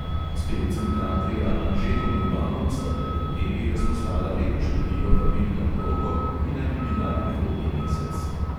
S pevcem kantrija anžetom urbanom sta pred dnevi razposlala lepo število vabil na poroko, ki naj bi bila prihodnji mesec.